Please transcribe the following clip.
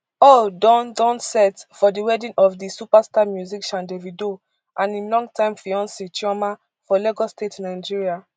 all don don set for di wedding of di superstar musician davido and im long time fiance chioma for lagos state nigeria